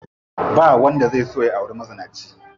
Ba wanda zai so ya auri mazinaci.